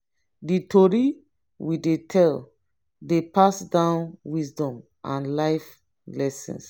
di tori we dey tell dey pass down wisdom and life lessons.